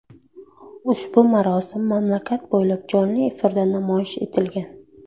Ushbu marosim mamlakat bo‘ylab jonli efirda namoyish etilgan.